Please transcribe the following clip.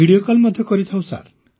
video call ମଧ୍ୟ କରିଥାଉ sir